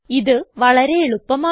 ഇത് വളരെ എളുപ്പമാണ്